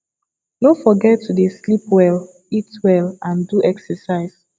no forget to dey sleep well eat well and do excercise